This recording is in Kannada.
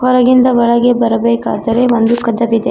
ಹೊರಗಿಂದ ಒಳಗೆ ಬರಬೇಕಾದರೆ ಒಂದು ಕದವಿದೆ. ಕ--